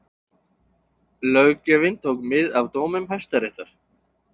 Löggjöfin tók mið af dómum Hæstaréttar